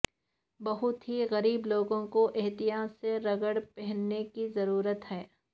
بہت ہی غریب لوگوں کو احتیاط سے رگڑ پہننے کی ضرورت ہے